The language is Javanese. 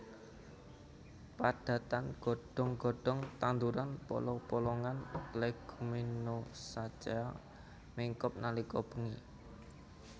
Padatan godhong godhong tanduran polong polongan Leguminosaceae mingkup nalika bengi